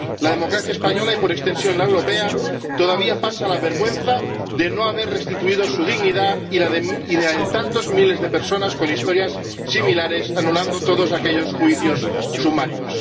La democracia española y, por extensión, la europea todavía pasan la vergüenza de no haber restituido su dignidad y la de tantos miles de personas con historias similares, anulando todos aquellos juicios sumarios.